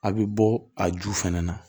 A bɛ bɔ a ju fɛnɛ na